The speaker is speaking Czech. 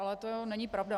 Ale to není pravda.